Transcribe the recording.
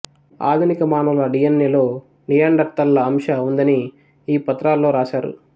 ఆధునిక మానవుల డిఎన్ఎలో నియాండర్తళ్ళ అంశ ఉందని ఈ పత్రాల్లో రాసారు